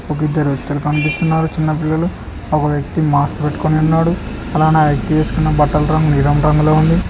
ఒక ఇద్దరు వ్యక్తులు కనిపిస్తున్నారు చిన్న పిల్లలు ఒక వ్యక్తి మాస్క్ పెట్టుకొని ఉన్నాడు అలానే ఆ వ్యక్తి వేసుకున్న బట్టల రంగు నీలం రంగులో ఉంది.